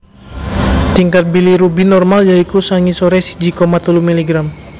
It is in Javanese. Tingkat bilirubin normal ya iku sangisoré siji koma telu miligram